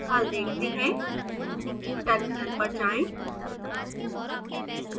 हल देखते हैं टर्मिनल पर जाएं